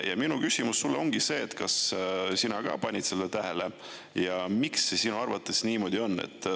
Ja minu küsimus sulle ongi see, kas sina ka panid seda tähele ja miks see sinu arvates niimoodi on.